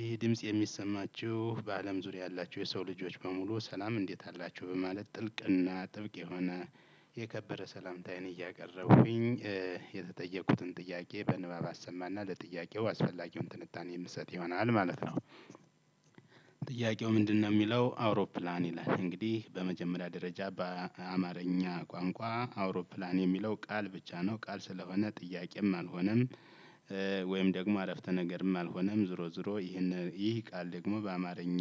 ይህ ድምጽ የሚሰማችሁ በአለም ዙሪያ ያላችሁ የሰው ልጆች በሙሉ ሰላም እንዴት አላቺሁ በማለት ጥልቅ እና ጥብቅ የሆነ የከበረ ሰላምታዬን እያቀረብኩኝ የተጠየቁትን ጥያቄ በንባብ አሰማና ለጥያቄው አስፈላጊውን ትንታኔ የምሰጥ ይሆናል ማለት ነው። ጥያቄው ምንድነው የሚለው አውሮፕላን ይላል እንግዲህ በመጀመሪያ ደረጃ በአማርኛ ቋንቋ አውሮፕላን የሚለው ቃል ብቻ ነው ቃል ስለሆነ ጥያቄም አልሆነም። ወይም ደግሞ አረፍተ ነገርም አልሆነም ዝሮ ዝሮ ይህን ይህ ቃል ደግሞ በአማርኛ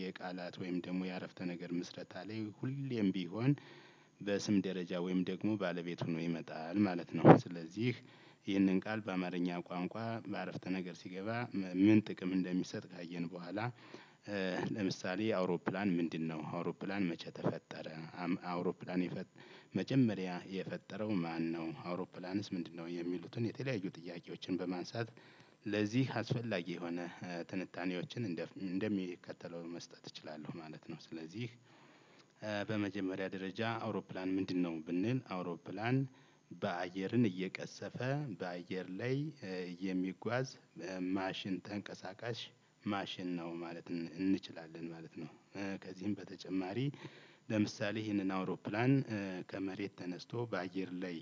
የቃላት ወይም ደግሞ የአረፍተ ነገር ምስረታ ላይ ሁሌም ቢሆን በስም ደረጃ ወይም ደግሞ ባለቤትሁኖ ይመጣል ማለት ነው። ስለዚህ ይህንን ቃል በአማርኛ ቋንቋ በአረፍተ ነገር ሲገባ ምን ጥቅም እንደሚሰጥ ካየን በኋላ። ለምሳሌ አውሮፕላን ምንድነው አውሮፕላን መቼ ተፈጠረ? አውሮፕላንየፈጠ መጀመሪያ የፈጠረው ማነው? አውሮፕላንስ ምንድነው የሚሉትን የተለያዩ ጥያቄዎችን በማንሳት። ለዚህ አስፈላጊ የሆነ ትንታኔዎችን እንደሚከተለው መስጠት እችላለሁ ማለት ነው። ስለዚህ በመጀመሪያ ደረጃ አውሮፕላን ምንድን ነው? ብንል አውሮፕላን አየርን እየቀሰፈ በአየር ላይ የሚጓዝ ማሽን ተንቀሳቃሽ ማሽን ነው ማለት እንችላለን ማለት ነው። ከዚህም በተጨማሪ ለምሳሌ ይሄንን አውሮፕላን ከመሬት ተነስቶ በአየር ላይ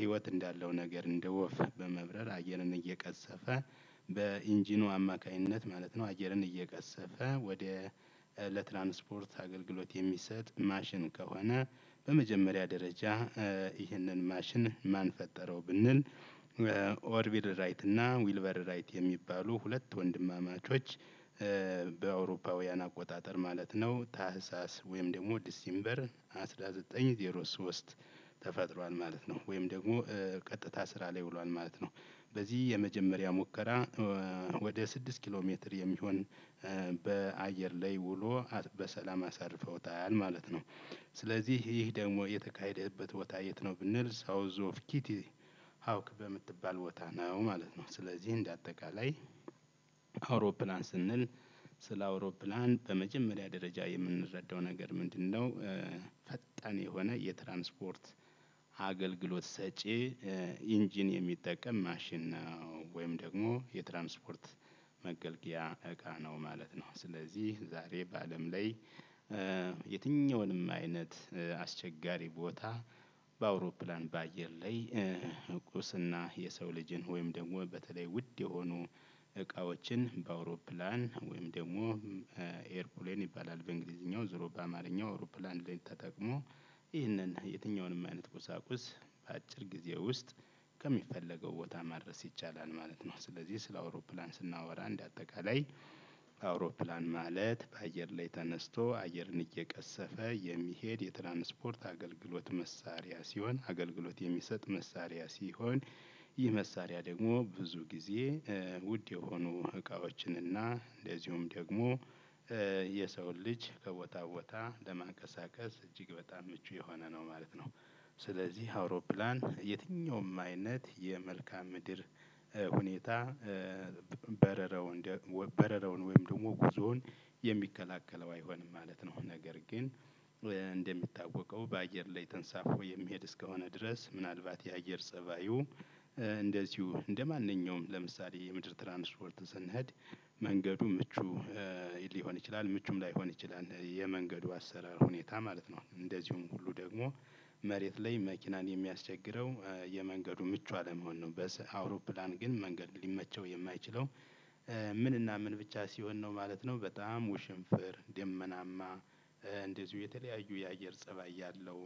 ህይወት እንዳለው ነገር እንደ ወፍ በመብረር አየርን እየቀሰፈ ኢንጂኑ አማካኝነት ማለት ነው። አየርን እየቀሰፈ ወደ ለትራንስፖርት አገልግሎት የሚሰጥ ማሺን ከሆነ በመጀመሪያ ደረጃ ይህንን ማሽን ማን ፈጠረው ብንል? ኦርቢር ራይት እና ዊልቨር ራይት የሚባሉ ሁለት ወንድማማቾች። በአውሮፓውያን አቆጣጠር ማለት ነው ታህሳስ ወይም ደግሞ ዲሴምበር አስራ ዘጠኝ ዜሮ ሶስት ተፈጥሯል ማለት ነው። ወይም ደግሞ ቀጥታ ስራ ላይ ውሏል ማለት ነው። በዚህ የመጀመሪያ ሙከራ ወደ ስድስት ኪሎ ሜትር የሚሆን በአየር ላይ ውሎ በሰላም አሳርፈውታል ማለት ነው። ስለዚህ ይህ ደግሞ የተካሄደበት ቦታ የት ነው ብንል? ሳውዝ ኦፍ ኪቲ ሀውክ በምትባል ነው ማለት ነው። ስለዚህ እንደ አጠቃላይ አውሮፕላን ስንል ስለ አውሮፕላን በመጀመሪያ ደረጃ የምንረዳው ነገር ምንድነው? ፈጣን የሆነ የትራንስፖርት አገልግሎት ሰጪ ኢንጂን የሚጠቀም ማሽን ነው። ወይም ደግሞ የትራንስፖርት መገልገያ እቃ ነው ማለት ነው። ስለዚህ ዛሬ በአለም ላይ የትኛውንም አይነት አስቸጋሪ ቦታ በአውሮፕላን በአየር ላይ እቁስና የሰው ልጅን ወይም ደግሞ በተለይ ውድ የሆኑ እቃዎችን በአውሮፕላን ወይም ደግሞ ኤርፑሌን ይባላል በእንግሊዝኛው ዙሮ በአማርኛው አውሮፕላን ተጠቅሞ ይህንን የትኛውንም አይነት ቁሳቁስ በአጭር ጊዜ ውስጥ ከሚፈለገው ቦታ ማድረስ ይቻላል ማለት ነው። ስለዚህ ስለ አውሮፕላን ስናወራ እንደአጠቃላይ አውሮፕላን ማለት በአየር ላይ ተነስቶ አየርን እየቀሰፈ የሚሄድ የትራንስፖርት አገልግሎት መሳሪያ ሲሆን አገልግሎት የሚሰጥ መሳሪያ ሲሆን። ይህ መሳሪያ ደግሞ ብዙ ጊዜ ውድ የሆኑ እቃዎችንና እንደዚሁም ደግሞ የሰው ልጅ ከቦታ ቦታ ለማንቀሳቀስ እጅግ በጣም ምቹ የሆነ ነው ማለት ነው። ስለዚህ አውሮፕላን የትኛውም አይነት የመልከዓ ምድር ሁኔታ በረረው ወይም ደግሞ ጉዞውን የሚከላከለው አይሆንም ማለት ነው። ነገር ግን። በአየር ላይ ተንሳፎ የሚሄድ እስከሆነ ድረስ ምናልባት የአየር ፀባዩ እንደዚሁ እንደማንኛውም ለምሳሌ የምድር ትራንስፖርት ስንሄድ መንገዱ ምቹ ሊሆን ይችላል ምቹም ላይሆን ይችላል። የመንገዱ አሰራር ሁኔታ ማለት ነው እንደዚሁም ሁሉ ደግሞ መሬት ላይ መኪናን የሚያስቸግረው የመንገዱ ምቹ አለመሆን ነው። በአውሮፕላን ግን መንገድ ሊመቸው የማይችለው ምን እና ምን ብቻ ሲሆን ነው ማለት ነው። በጣም ውሽንፍር ደመናማ እንደዚሁ የተለያዩ የአየር ፀባይ ያለው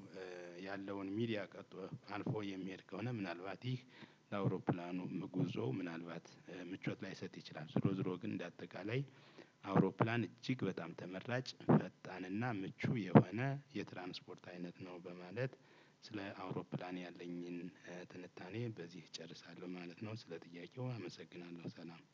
ያለውን ሚዲያ ቀጥቶ አልፎ የሚሄድ ከሆነ ምናልባት ይህ ለአውሮፕላኑ መጉዞ ምናልባት ምቾት ላይሰጥ ይችላል። ዝሮ ዝሮ ግን እንደ አጠቃላይ አውሮፕላን እጅግ በጣም ተመራጭ ፈጣንና ምቹ የሆነ የትራንስፖርት አይነት ነው። በማለት ስለ አውሮፕላን ያለኝን ትንታኔ በዚህ እጨርሳለሁ ማለት ነው። ስለ ጥያቄው አመሰግናለሁ ሰላም።